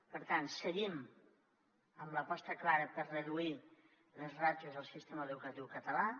per tant seguim amb l’aposta clara per reduir les ràtios al sistema educatiu català